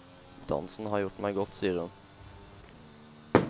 Dansen har gjort meg godt, sier hun.